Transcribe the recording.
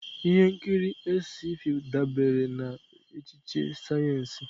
Ihe nkiri Sc-fi dabere na echiche sayensị.